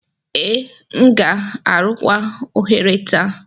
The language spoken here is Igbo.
Ee, m ga-arụkwa oghere taa.